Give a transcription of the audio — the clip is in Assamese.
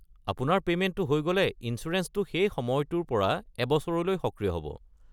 আপোনাৰ পেমেণ্টটো হৈ গ'লে ইঞ্চুৰেঞ্চটো সেই সময়টোৰ পৰা এবছৰলৈ সক্ৰিয় হ'ব।